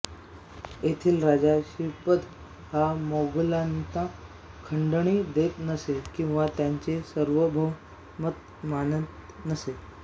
येथील राजा श्रीपद हा मोगलांना खंडणी देत नसे किंवा त्यांचे सार्वभौमत्व मानीत नसे